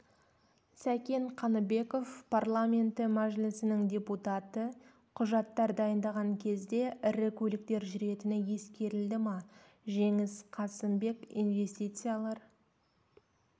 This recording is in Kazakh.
сәкен қаныбеков парламенті мәжілісінің депутаты құжаттар дайындаған кезде ірі көліктер жүретіні ескерілді ма жеңіс қасымбек инвестициялар